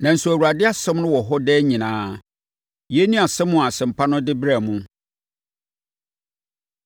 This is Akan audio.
nanso Awurade asɛm no wɔ hɔ daa nyinaa.” Yei ne asɛm a Asɛmpa no de brɛɛ mo.